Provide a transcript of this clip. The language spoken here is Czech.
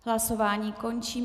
Hlasování končím.